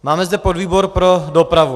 Máme zde podvýbor pro dopravu.